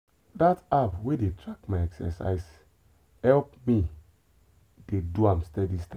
that app wey dey track my exercise help me dey do am steady steady.